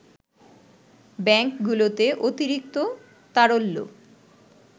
ব্যাংকগুলোতে অতিরিক্ত তারল্য